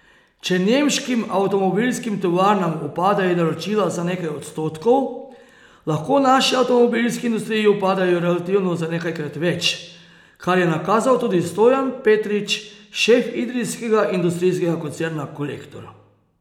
Če nemškim avtomobilskim tovarnam upadejo naročila za nekaj odstotkov, lahko naši avtomobilski industriji upadejo relativno za nekajkrat več, kar je nakazal tudi Stojan Petrič, šef idrijskega industrijskega koncerna Kolektor.